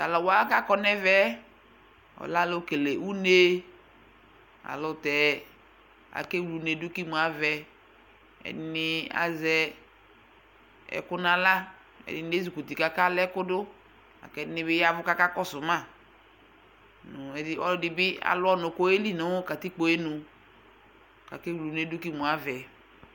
Taluwa kakɔ nu ɛvɛ ɔlɛ alʋ kele unee ɛyɛlutɛ akewle uneedu ku emuavɛ ɛdinii azɛɛ ɛkʋ nu ayla ɛdini ezikuti ka akalɛ ɛƒʋdʋ ɛdiniibi akakɔsʋmaa ɔludibi alʋ ɔnʋ kʋ ɔyeli nu katikpoenu kakewle uneedu kemuavɛ